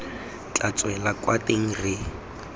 tla tswela kwa teng re